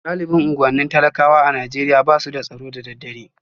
Galibin unguwannin talakawa a Najeriya ba su da tsaro da daddare